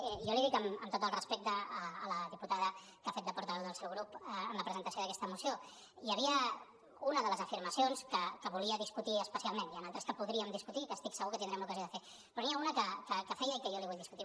jo l’hi dic amb tot el respecte a la diputada que ha fet de por·taveu del seu grup en la presentació d’aquesta moció hi havia una de les afirma·cions que volia discutir especialment n’hi han d’altres que podríem discutir que estic segur que tindrem l’ocasió de fer però n’hi ha una que feia i que jo li vull dis·cutir